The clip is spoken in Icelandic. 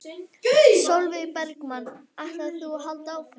Sólveig Bergmann: Ætlar þú að halda áfram?